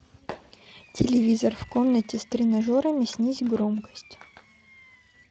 телевизор в комнате с тренажерами снизь громкость